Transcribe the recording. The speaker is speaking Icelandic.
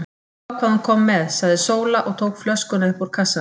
Líttu á hvað hún kom með, sagði Sóla og tók flöskuna upp úr kassanum.